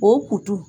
O kutu